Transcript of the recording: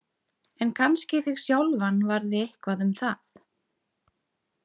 En kannski þig sjálfan varði eitthvað um það.